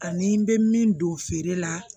Ani n bɛ min don feere la